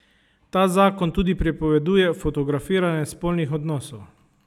Ta zakon tudi prepoveduje fotografiranje spolnih odnosov.